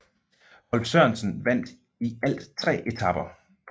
Rolf Sørensen vandt i alt tre etaper